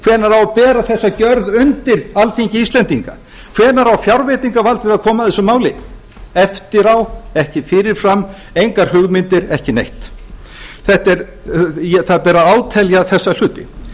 hvenær á að bera þessa gjörð undir alþingi íslendinga hvenær á fjárveitingavaldið að koma að þessu máli eftir á ekki fyrirfram engar hugmyndir ekki neitt það ber að átelja þessa hluti